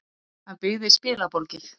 Hann byggði spilaborgir.